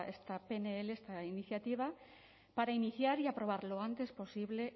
esta pnl esta iniciativa para iniciar y aprobar lo antes posible